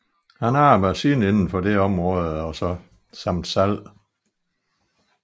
Han arbejde siden inden for dette område samt salg